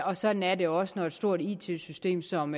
og sådan er det også når et stort it system som